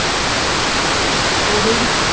ਉਹੋ ਹੀ